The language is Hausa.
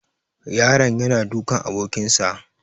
The boy is beating his friend